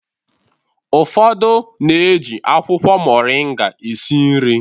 Ụfodu na-eji akwụkwọ moringa esi nri